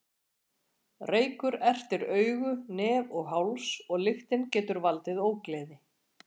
Reykur ertir augu, nef og háls og lyktin getur valdið ógleði.